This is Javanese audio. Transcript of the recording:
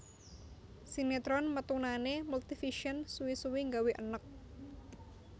Sinetron metunane Multivision suwi suwi nggawe eneg